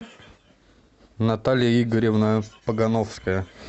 наталья игоревна погановская